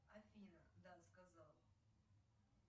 афина да сказал